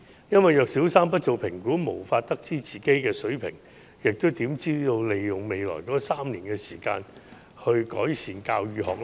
如果小三不做評估，便無法得知學生水平，那麼又怎可以利用其後3年的時間改善教與學呢？